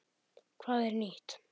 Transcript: Hvað er nýtt?